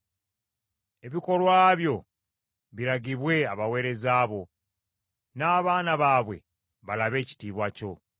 Ebikolwa byo biragibwe abaweereza bo, n’abaana baabwe balabe ekitiibwa kyo.